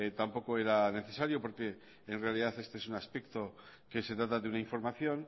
tampoco era necesario porque en realidad este es un aspecto que se trata de una información